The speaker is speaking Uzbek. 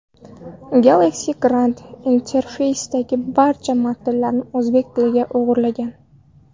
Galaxy Grand interfeysidagi barcha matnlar o‘zbek tiliga o‘girilgan.